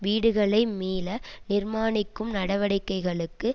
வீடுகளை மீள நிர்மாணிக்கும் நடவடிக்கைகளுக்கு